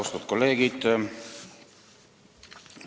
Austatud kolleegid!